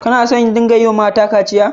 Kana so a dinga yiwa mata kaciya?